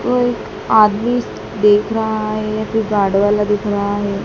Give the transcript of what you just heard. कोई आदमी देख रहा है या फिर गार्ड वाला दिख रहा है।